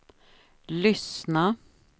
lyssna